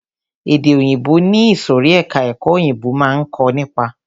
Èdè òyìnbó ni ìsòrí ẹka ẹ̀kọ́ òyìnbó máa ń kó nípa.